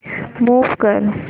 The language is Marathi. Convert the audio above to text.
मूव्ह कर